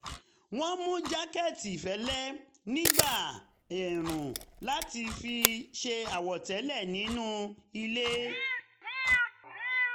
wọ́n ń mú jákẹ́ẹ̀tì fẹ́lẹ́ nígbà ẹ̀ẹ̀rùn láti fi ṣe àwọ̀tẹ́lẹ̀ nínú ilé